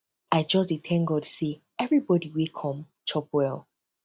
i just dey thank god say everybody wey come chop well